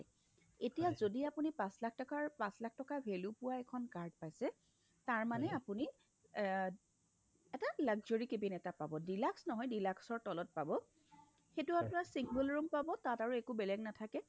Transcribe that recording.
এতিয়া যদি আপুনি পাচ লাখ টকাৰ পাচ লাখ টকা value পোৱা এখন card খন পাইছে তাৰ মানে আপুনি এহ্ এটা luxury cabin এটা পাব deluxe নহয় deluxeৰ তলত পাব সেইটো আপোনাৰ single room পাব তাত আপোনাৰ একো বেলেগ নাথাকে